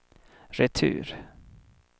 retur